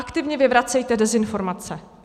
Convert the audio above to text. Aktivně vyvracejte dezinformace.